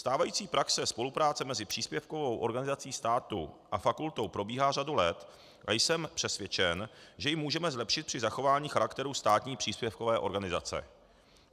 Stávající praxe spolupráce mezi příspěvkovou organizací státu a fakultou probíhá řadu let a jsem přesvědčen, že ji můžeme zlepšit při zachování charakteru státní příspěvkové organizace.